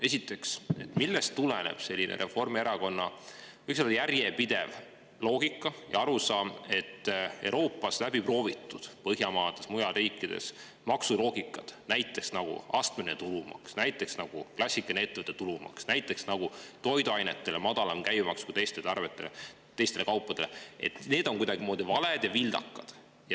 Esiteks, millest tuleneb selline Reformierakonna, võiks öelda, järjepidev loogika ja arusaam, et Euroopas, kas või Põhjamaades ja ka mujal riikides, läbiproovitud maksuloogikad, näiteks astmeline tulumaks, klassikaline ettevõtte tulumaks, toiduainete madalam käibemaks võrreldes teiste kaupadega, on kuidagimoodi valed ja vildakad?